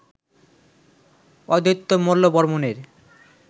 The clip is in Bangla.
অদ্বৈত মল্লবর্মণের